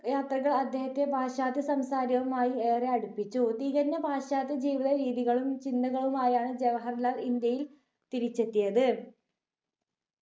യാത്രകൾ അദ്ദേഹത്തെ പാശ്ചാത്യ സംസ്കാരവുമായി ഏറെ അടുപ്പിച്ചു തികഞ്ഞ പാശ്ചാത്യ ജീവിത രീതികളും ചിന്തകളുമായാണ് ജവാഹർലാൽ ഇന്ത്യയിൽ തിരിച്ചെത്തിയത്